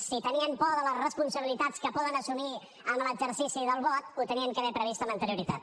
si tenien por de les responsabilitats que poden assumir amb l’exercici del vot ho havien d’haver previst amb anterioritat